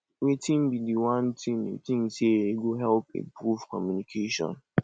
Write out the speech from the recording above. wetin be di one thing you think say e go help improve communication